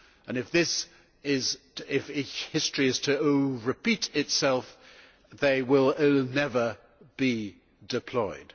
If history is to repeat itself, they will never be deployed.